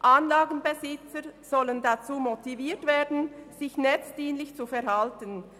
Anlagenbesitzer sollen dazu motiviert werden, sich netzdienlich zu verhalten.